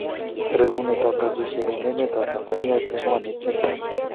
rekunetab robishiek eng emetab Tanzania kengwan netian?